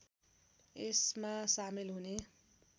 यसमा सामेल हुने